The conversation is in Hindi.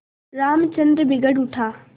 रामचंद्र बिगड़ उठा